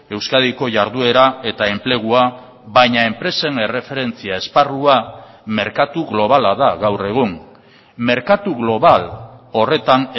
euskadiko jarduera eta enplegua baina enpresen erreferentzia esparrua merkatu globala da gaur egun merkatu global horretan